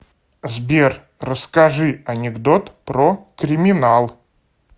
сбер расскажи анекдот про криминал